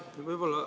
Aitäh!